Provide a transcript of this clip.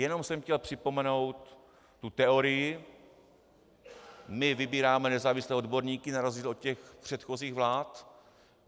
Jenom jsem chtěl připomenout tu teorii: "My vybíráme nezávislé odborníky na rozdíl od těch předchozích vlád.